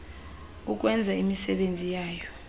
ukwenza imisebenzi yayo